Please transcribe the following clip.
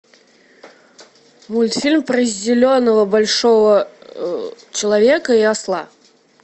мультфильм про зеленого большого человека и осла